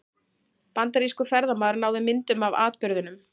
Bandarískur ferðamaður náði myndum af atburðinum